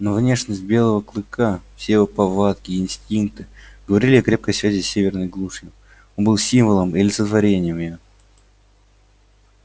но внешность белого клыка все его повадки и инстинкты говорили о крепкой связи с северной глушью он был символом и олицетворением её